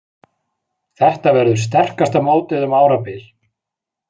Þetta verður sterkasta mótið um árabil